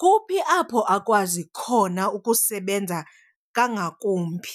kuphi apho akwazi khona ukusebenza kangakumbi.